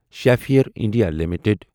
Schaeffler India limited